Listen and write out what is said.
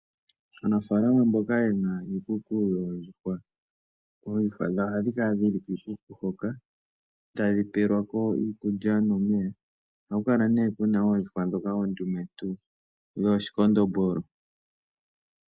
Aanafalama mboka ye na iikuku yoondjuhwa, oondjuhwa dhawo ohadhi kala dhi li kiikuku hoka tadhi pelwa ko iikulya nomeya. Ohaku kala nee ku na oondjuhwa ndhoka oondumentu dhooshikondombolo.